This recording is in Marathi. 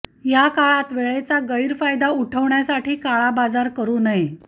या काळात वेळेचा गैरफायदा उठवण्यासाठी काळाबाजार करू नये